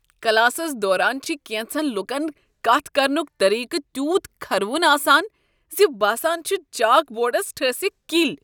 Classes دوران چھ کینژن لوکن کتھ کرنک طریقہٕ تیوٗت کھرٕوُن آسان۔ زِ باسان چھُ چاک بورڈس ٹھٲسِکھ کلۍ۔